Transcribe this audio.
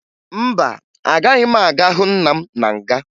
Mba, agaghị m aga hụ nna m na nga